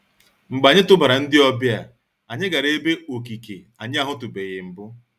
Mgbe anyị tụbara ndị ọbịa, anyị gara ebe okike anyị ahụtụbeghị mbụ.